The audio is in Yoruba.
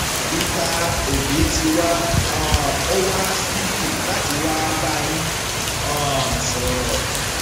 peter obi ti wá um ọ wá síbí láti wáá bá yín um sọrọ